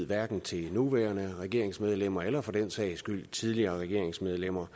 hverken til nuværende regeringsmedlemmer eller for den sags skyld tidligere regeringsmedlemmer